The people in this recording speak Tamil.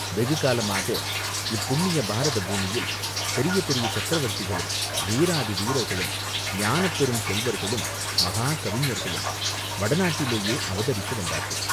வெகுகாலமாக இப்புண்ணிய பாரத பூமியில் பெரிய பெரிய சக்கரவர்த்திகளும், வீராதி வீரர்களும், ஞானப் பெருச் செல்வர்களும், மகா கவிஞர்களும் வடநாட்டிலேயே அவதரித்து வந்தார்கள்.